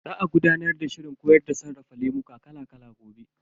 Za a gudanar da shirin koyar da sarrafa lemuka kala kala gobe.